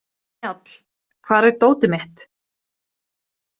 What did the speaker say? Njáll, hvar er dótið mitt?